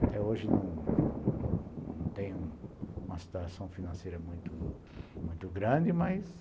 Até hoje não tenho uma situação financeira muito grande, mas...